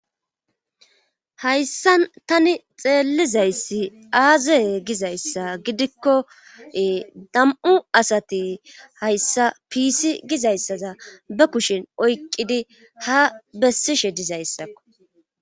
hayssa tani xeellizayssi aazeye gizayssa gidikko dam7u asati hayssa piisi gizayssaza ba kushin oyqqidi ha bessishe dizayssakko